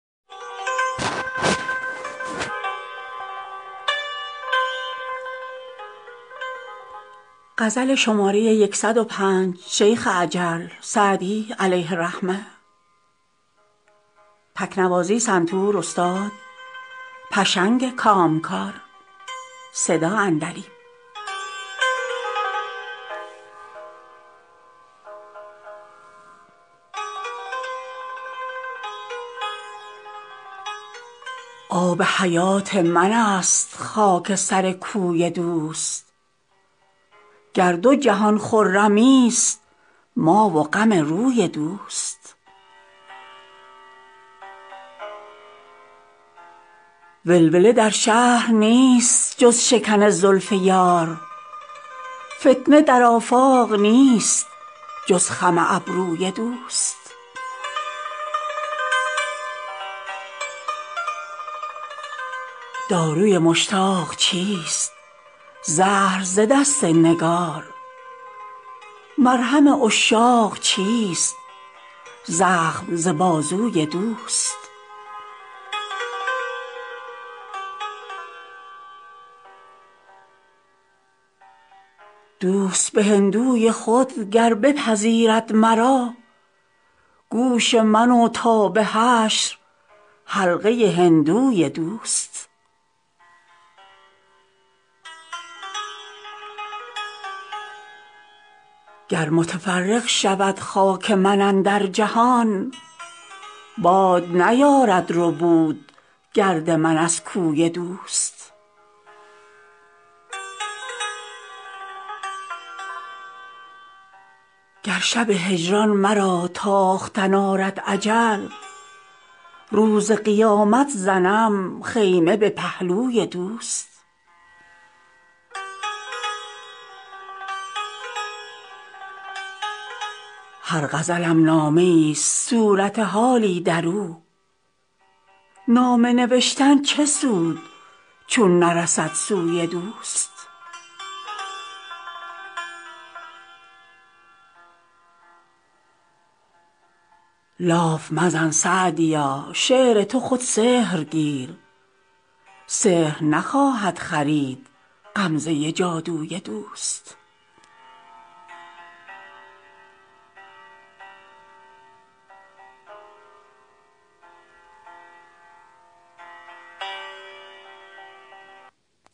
آب حیات من است خاک سر کوی دوست گر دو جهان خرمیست ما و غم روی دوست ولوله در شهر نیست جز شکن زلف یار فتنه در آفاق نیست جز خم ابروی دوست داروی مشتاق چیست زهر ز دست نگار مرهم عشاق چیست زخم ز بازوی دوست دوست به هندوی خود گر بپذیرد مرا گوش من و تا به حشر حلقه هندوی دوست گر متفرق شود خاک من اندر جهان باد نیارد ربود گرد من از کوی دوست گر شب هجران مرا تاختن آرد اجل روز قیامت زنم خیمه به پهلوی دوست هر غزلم نامه ایست صورت حالی در او نامه نوشتن چه سود چون نرسد سوی دوست لاف مزن سعدیا شعر تو خود سحر گیر سحر نخواهد خرید غمزه جادوی دوست